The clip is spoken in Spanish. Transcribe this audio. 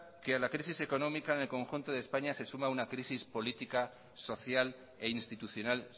que a la crisis económica en el conjunto de españa se suma una crisis política social e institucional